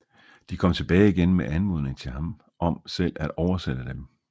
De kom tilbage igen med anmodning til ham om selv at oversætte dem